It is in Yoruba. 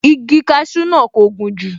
Igi kasú náà kò gùn jù